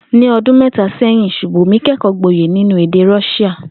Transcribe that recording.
Ní o̩dún mé̩ta sé̩yìn, S̩ùbòmí ké̩kò̩ó̩ gboyè nínú èdè Ró̩s̩íà